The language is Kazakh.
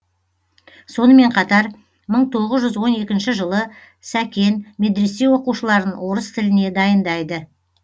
сонымен қатар мың тоғыз жүз он екінші жылы сәкен медресе оқушыларын орыс тіліне дайындайды